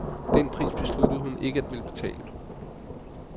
Den pris besluttede hun ikke at ville betale.